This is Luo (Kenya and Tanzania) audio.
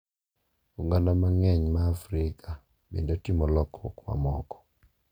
Oganda mang’eny ma Afrika bende timo lokruok mamoko.